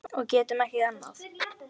Og getum ekki annað.